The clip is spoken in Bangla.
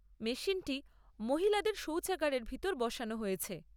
মেশিনটি মহিলাদের সৌচাগারের ভিতর বসানো হয়েছে।